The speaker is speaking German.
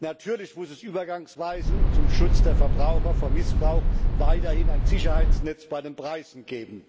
Natürlich muss es übergangsweise und zum Schutz der Verbraucher vor Missbrauch weiterhin ein Sicherheitsnetz bei den Preisen geben.